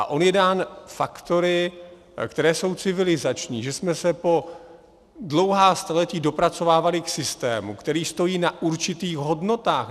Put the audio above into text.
A on je dán faktory, které jsou civilizační, že jsme se po dlouhá staletí dopracovávali k systému, který stojí na určitých hodnotách.